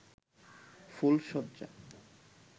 ফুলশয্যা